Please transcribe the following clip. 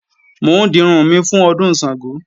Mò ń dirun mi fún Ọdún Ṣàngó